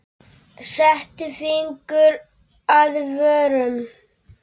Setti fingur að vörum.